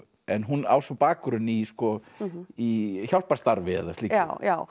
en hún á svo bakgrunn í í hjálparstarfi eða slíku já já